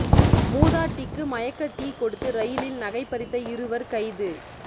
மூதாட்டிக்கு மயக்க டீ கொடுத்து ரயிலில் நகை பறித்த இருவர் கைது